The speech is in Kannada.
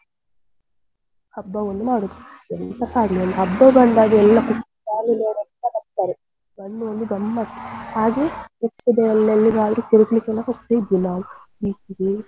ಹಬ್ಬ ಒಂದು ಮಾಡುದು ಎಂತಸ ಆಗ್ಲಿ ಒಂದ್ ಹಬ್ಬ ಬಂದಾಗ ಎಲ್ಲ family ಅವ್ರೆಲ್ಲಾ ಬರ್ತಾರೆ ಬಂದು ಒಂದು ಗಮ್ಮತ್ ಹಾಗೆ next day ಅಲ್ಲಿ ಎಲ್ಲಿಗಾದ್ರೂ ತೀರ್ಗ್ಲಿಕ್ಕೆಲ್ಲ ಹೋಗ್ತಾ ಇದ್ವಿ ನಾವು beach ಗೆ.